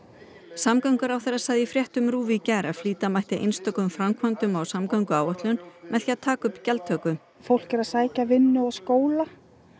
samgönguráðherra sagði í fréttum RÚV í gær að flýta mætti einstökum framkvæmdum á samgönguáætlun með því að taka upp gjaldtöku fólk er að sækja vinnu og skóla